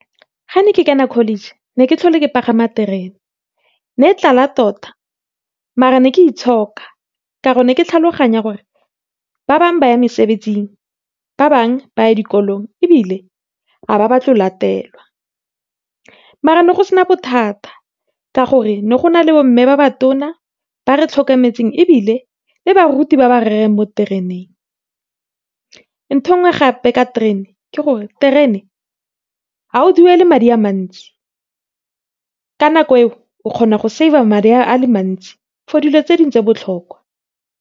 Ga ne ke college, ne ke ke pagama terene ne e tlala tota mare ne ke itshoka ka gore ne ke tlhaloganya gore, ba bangwe ba ya mesebetsing, ba bangwe ba dikolong, ebile ha ba batle go latelwa, maar ne go sena bothata, ka gore ne go na le bo mme ba ba tona ba re tlhokometseng, ebile le baruti ba ba rerang mo tereneng. ntho engwe gape ka terene ke gore, terene ga o duele madi a mantsi. Ka nako eo, o kgona go save-a madi a le mantsi for dilo tse dingwe tse di botlhokwa.